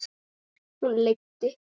Hún leiddi